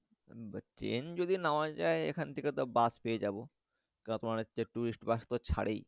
Train যদি নাও যাই তাহলে এখান থেকে Bus পেয়ে যাবো যা তোমার হচ্ছে Tourist bus তো ছারেই।